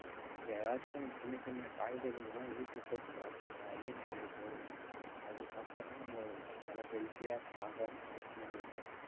ஏதாச்சும் சின்ன சின்ன காய்கறிகள் எல்லாம் வீட்டுல போட்டு வளர்த்துங்க அதே நம்மளுக்கு போதும் அது சாப்பிட்டாலே நம்ம நல்லா healthy யா strong இருப்போம் நம்மளுக்கு